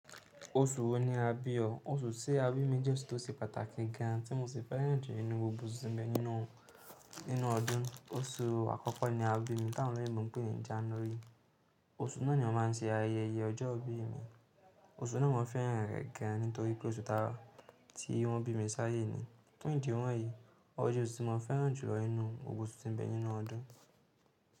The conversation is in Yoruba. Oṣù wo ni a bí o? Oṣù ti abi mi jẹ́ oṣù tó ṣe pàtàkì gan an tí mo sì fẹ́ràn jù nínú gbogbo oṣù tí n bẹ nínú ọdún. Oṣù àkọ́kọ́ ni a bí mi, tá wòn oloyinbọ̀ pé ní January. Oṣù náà ni wọ́n má n ṣe ayẹyẹ ọjọ́ ìbí mi. Oṣù náà mo fẹ́ràn rẹ̀ gan an nítorí pé oṣù tá tí wọ́n bí mi sáyé ni. Fún ìdí wọ̀nyí, ọje oṣù tí mo fẹ́ràn jùlọ nínú gbogbo oṣù tí n bẹ nínú ọdún.